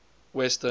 western